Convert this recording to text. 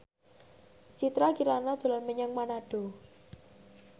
Citra Kirana dolan menyang Manado